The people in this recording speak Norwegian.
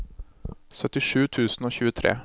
syttisju tusen og tjuetre